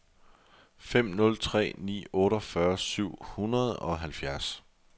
fem nul tre ni otteogfyrre syv hundrede og halvfjerds